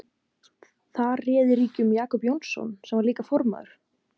Þar réði ríkjum Jakob Jónasson sem líka var formaður